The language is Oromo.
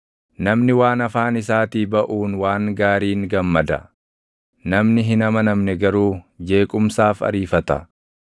Namni waan afaan isaatii baʼuun waan gaariin gammada; namni hin amanamne garuu jeequmsaaf ariifata.